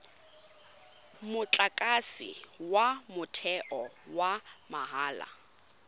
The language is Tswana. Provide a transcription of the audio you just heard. motlakase wa motheo wa mahala